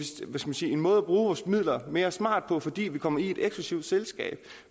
måde at bruge vores midler mere smart på fordi vi kommer i et eksklusivt selskab